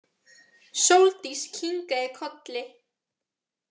Sóldís kinkaði kolli.